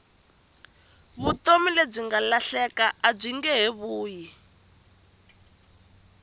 vutomi lebyi nga lahleka abyinge he vuyi